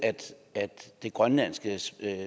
at det grønlandske